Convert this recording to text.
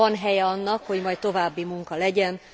Van helye annak, hogy majd további munka legyen.